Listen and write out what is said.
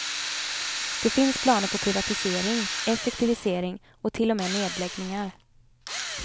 Det finns planer på privatisering, effektivisering och till och med nedläggningar.